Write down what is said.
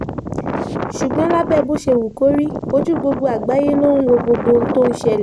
ṣùgbọ́n lábẹ́ bó ṣe wù kó rí ojú gbogbo àgbáyé ló ń wo gbogbo ohun tó ń ṣẹlẹ̀